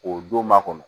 O don ma kɔnɔ